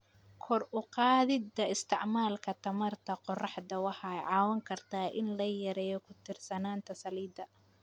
Kor u qaadida isticmaalka tamarta qoraxda waxay caawin kartaa in la yareeyo ku tiirsanaanta saliidda.